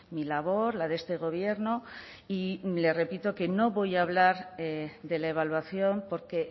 mi labor la de este gobierno y le repito que no voy a hablar de la evaluación porque